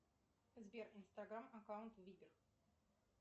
сбер инстаграм аккаунт вигер